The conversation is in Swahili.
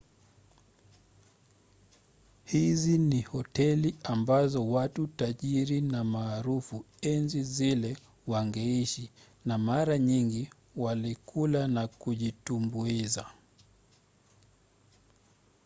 hizi ni hoteli ambazo watu tajiri na maarufu enzi zile wangeishi na mara nyingi walikula na kujitumbuiza